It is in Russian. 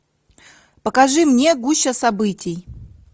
покажи мне гуща событий